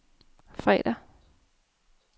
fredag